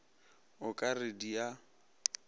o ka re di a